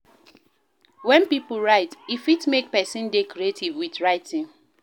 When pipo write, e fit make person dey creative with writing